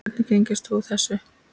Andri: Hvernig tengist þú þessu?